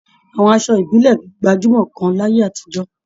Àwọn aṣọ ìbílẹ̀ gbajúmọ̀ gan láyé àtijọ́